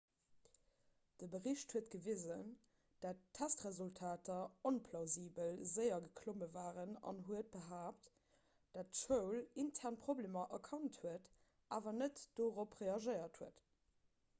de bericht huet gewisen datt testresultater onplausibel séier geklomme waren an huet behaapt datt d'schoul intern problemer erkannt huet awer net dorop reagéiert huet